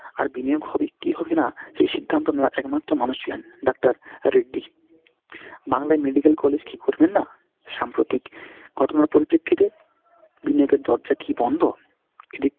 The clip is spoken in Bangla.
আর বিনিয়োগ হবে কি হবে না সেই সিদ্ধান্ত নেওয়ার একমাত্র মানুষ ছিলেন doctor রেড্ডি। বাংলায় medical college কী করবেন না? সাম্প্রতিক ঘটনার পরিপ্রেক্ষিতে বিনিয়োগের দরজা কি বন্ধ? এদিক,